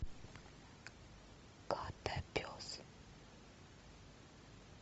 котопес